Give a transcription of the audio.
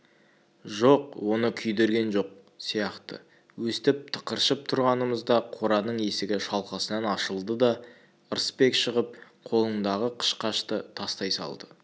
жоқ оны күйдірген жоқ сияқты өстіп тықыршып тұрғанымызда қораның есігі шалқасынан ашылды да ырысбек шығып қолындағы қышқашты тастай салды